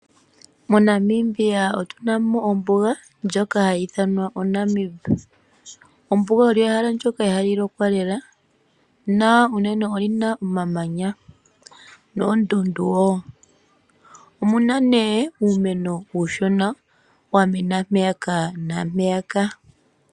MoNamibia otunamo ombuga ndjoka hayi ithanwa oNamibia. Ombuga olyo ehala ndyoka ihaaali lokwa lela nolina omamanya noondundu woo. Omuna nee uumeno uushona wa mena mpeyaka naampeyaka.